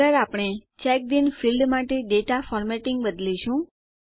આગળ આપણે checked in field માટે ડેટા ફોર્મેટિંગ બદલીશું